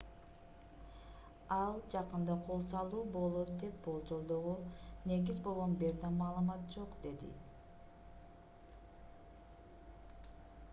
ал жакында кол салуу болот деп болжолдоого негиз болгон бир да маалымат жок - деди